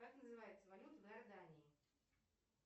как называется валюта в иордании